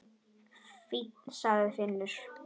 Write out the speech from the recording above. Fínn, sagði Finnur.